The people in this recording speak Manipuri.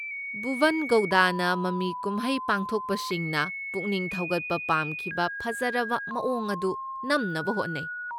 ꯚꯨꯕꯟ ꯒꯧꯗꯥꯅ ꯃꯃꯤ ꯀꯨꯝꯍꯩ ꯄꯨꯊꯣꯛꯄꯁꯤꯡꯅ ꯄꯨꯛꯅꯤꯡ ꯊꯧꯒꯠꯄ ꯄꯥꯝꯈꯤꯕ ꯐꯖꯔꯕ ꯃꯑꯣꯡ ꯑꯗꯨ ꯅꯝꯅꯕ ꯍꯣꯠꯅꯩ꯫